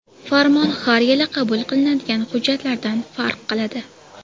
Farmon har yili qabul qilinadigan hujjatlardan farq qiladi.